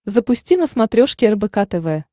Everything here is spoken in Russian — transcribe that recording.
запусти на смотрешке рбк тв